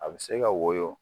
A bɛ se ka woyo